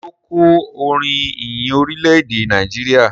Ṣe o kò orin ìyìn Orilẹ-ede Nàìjíríà?